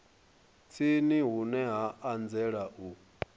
tsini hune ha anzela u